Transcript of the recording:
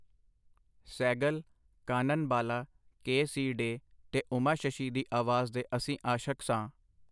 Sehgal, Kanan Bala, K. C. Dey, ਤੇ ਉਮਾ ਸ਼ਸ਼ੀ ਦੀ ਆਵਾਜ਼ ਦੇ ਅਸੀਂ ਆਸ਼ਕ ਸਾਂ.